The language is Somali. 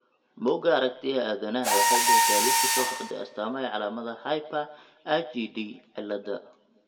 bugga aragtiyaha aanadanaha waxay bixisaa liiska soo socda ee astamaha iyo calaamadaha Hyper IgD ciilada